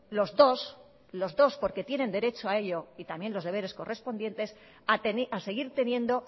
los dos los dos porque tienen derechos a ello y también los deberes correspondientes a seguir teniendo